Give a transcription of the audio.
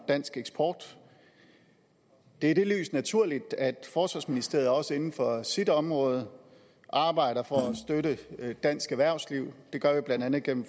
dansk eksport det er i det lys naturligt at forsvarsministeriet også inden for sit område arbejder for at støtte dansk erhvervsliv det gør vi blandt andet gennem